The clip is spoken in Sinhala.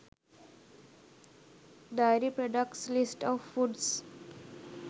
dairy products list of foods